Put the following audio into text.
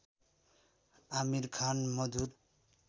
आमिर खान मधुर